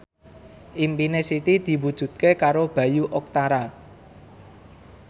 impine Siti diwujudke karo Bayu Octara